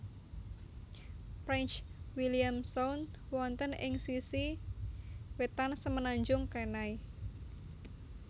Prince William Sound wonten ing sisi wetan Semenanjung Kenai